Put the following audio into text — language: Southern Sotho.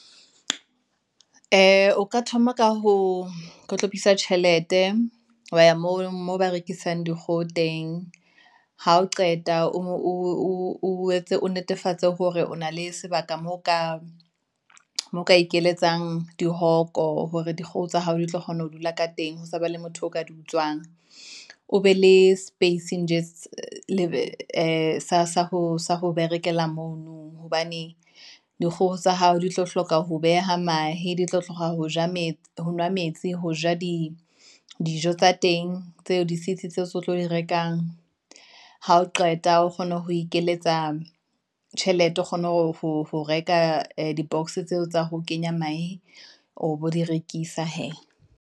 ee, o ka thoma ka ho hlophisa tjhelete, wa ya moo ba rekisang dikgoho teng, ha o qeta o netefatse hore o na le sebaka moo ka ikeletsang dihoko, hore dikgoho tsa hao di tlo kgona ho dula ka teng, ho sa ba le motho o ka di utsuwang. O be le space nge ee sa berekela mono, hobane dikgoho tsa hao di tlo hloka ho beha mahe, di tlo hloka ho nwa metsi, ho ja di dijo tsa teng, tseo di sitsi tseo se tlo di rekang. Ha o qeta o kgona ho ikeletsa tjhelete, o kgona ho reka di boxs tseo tsa ho kenya mahe, o bo di rekisa hee.